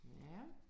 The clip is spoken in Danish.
Ja